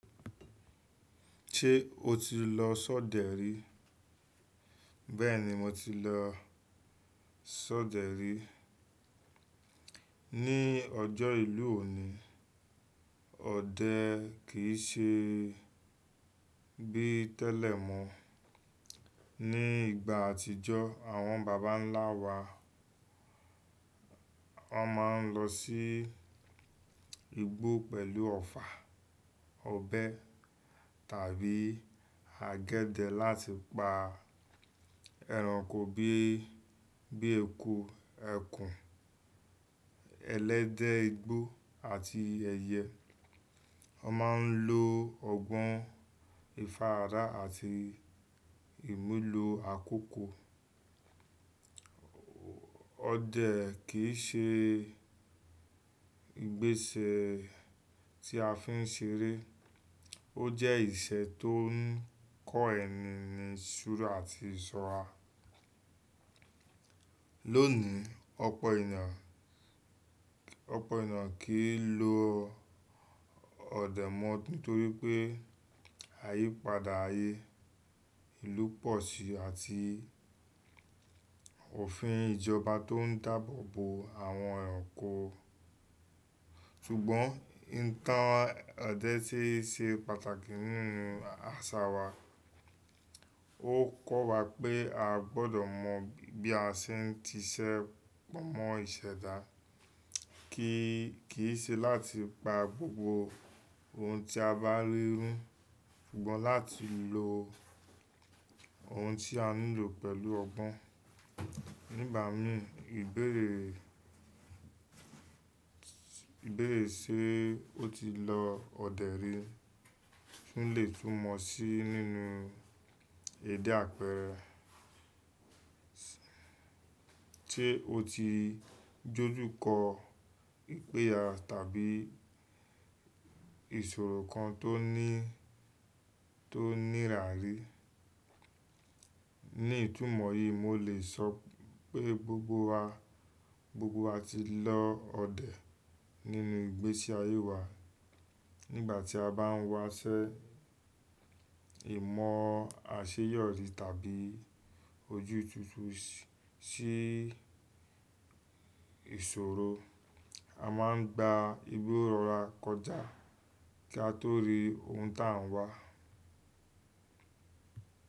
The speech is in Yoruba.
Ṣé o ti lọ ṣọdẹ rí? Bẹ́ẹ̀ni mo ti lọ ṣọdẹ rí. Ní ọjọ́ ìlú òní, ọdẹ kì í ṣe bí tẹ́lẹ̀ mọ́. Ní ìgbà àtijọ́, àwọn bàbà ńlá wa, wọ́n máa ń lọ sí igbó pẹ̀lú ọfà, ọbẹ tàbí àgẹ̀dẹ̀ láti pa ẹranko bí i, bíi eku, ẹkùn, ẹlẹ́dẹ̀ igbó àti ẹyẹ. Wọn máa ń lo ọgbọ́n, ìfaràda àti ìmulo àkókò. Ọdẹ kì í ṣe ìgbésẹ̀ tí a fi ń ṣeré, ó jẹ́ ìṣẹ̀ tó ń kọ ẹni ní ìṣúra àti ìsọ́ra. Lónìí, ọ̀pọ̀ ènìyàn, ọ̀pọ̀ ènìyàn kì í lo ọdẹ mọ́ torí pé àyípadà ayé ìlú pọ̀ sí i àti òfin ìjọba tó ń dáàbò bo àwọn ẹranko. Ṣùgbọ́n, ìtàn ọdẹ sì ṣe pàtàkì nínú àṣà wa. Ó kọ́ wa pé a gbọdọ̀ mọ bí a ṣe ń ti ṣẹ́ pọ̀ mọ́ ìṣẹ̀dá, kì í, kì í ṣe láti pa gbogbo ohun tí a bá rí rú, ṣùgbọ́n láti lo ohun tí a nílò pẹ̀lú ọgbọ́n. Nígbà mí, ìbéèrè, ìbéèrè ṣe ó ti lọ ọdẹ rí lè tún mọ̀ sí nínú èdè àpẹrẹ. Ṣe o ti dójú kọ ìpẹ́yà tàbí ìṣòro kan tó ní, tó nira rí? Ní ìtumọ̀ yìí, mo lè sọ pé gbogbo wa, gbogbo wa ti lọ ọdẹ nínú ìgbésí ayé wa. Nígbà tí a bá ń waṣẹ́ ìmọ̀ àṣeyọrí tàbí ojú túntún sí ìṣòro, a máa ń gba igbó rọra kọjá kí a tó rí ohun tá a ń wá.